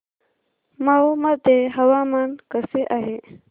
मौ मध्ये हवामान कसे आहे